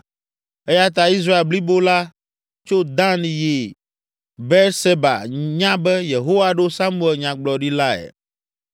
Eya ta Israel blibo la, tso Dan yi Beerseba nya be Yehowa ɖo Samuel nyagblɔɖilae.